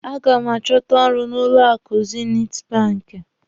A ga m achọta ọrụ n'ụlọ akụ zinit banki.